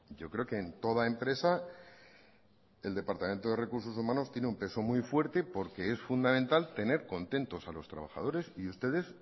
yo creo que en toda empresa el departamento de recursos humanos tiene un peso muy fuerte porque es fundamental tener contentos a los trabajadores y ustedes